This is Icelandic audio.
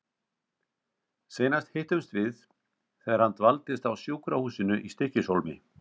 Seinast hittumst við þegar hann dvaldist á sjúkrahúsinu í Stykkishólmi.